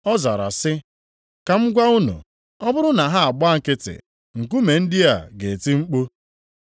Ọ zara sị, “Ka m gwa unu, ọ bụrụ na ha agbaa nkịtị, nkume ndị a ga-eti mkpu.”